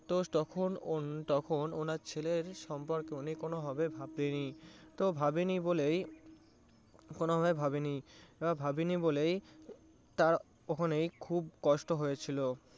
তো তখন~ তখন ওনার ছেলের সম্পর্কে উনি কোনো ভাবে ভাবেনি এবং ভাবেনি বলেই কোনো ভাবে ভাবেনি এবং ভাবেনি বলেই তার ওখানে খুব কষ্ট হয়েছিল